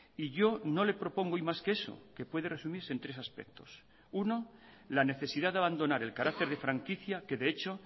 y yo no le propongo hoy más que eso que puede resumirse en tres aspectos uno la necesidad de abandonar el carácter de franquicia que de hecho